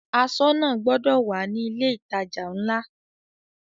Aṣọ́nà gbọdọ̀ wà ní ilé ìtajà ńlá.